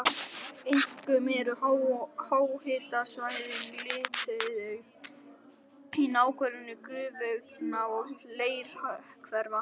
Einkum eru háhitasvæðin litauðug í nágrenni gufuaugna og leirhvera.